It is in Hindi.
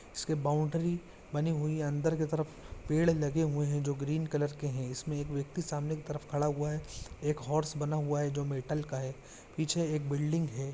इसकी बाउंड्री बनी हुई है अंदर की तरफ पेड़ लगे हुए हैं जो ग्रीन कलर के हैं इसमें एक व्यक्ति सामने की तरफ खड़ा हुआ है एक हॉर्स बना हुआ है जो मेटल का है पीछे एक बिल्डिंग है।